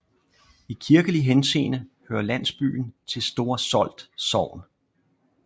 I kirkelig henseende hører landsbyen til Store Solt Sogn